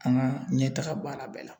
An ka ɲɛtaga baara bɛɛ la